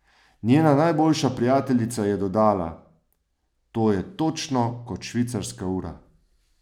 Njena najboljša prijateljica je dodala: "To je točno kot švicarska ura.